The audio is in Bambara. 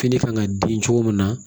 Fini kan ka den cogo min na